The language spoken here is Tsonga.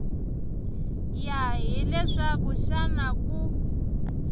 ya hi leswaku xana ku